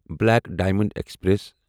black diamond express